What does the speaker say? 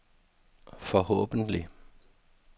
forhåbentlig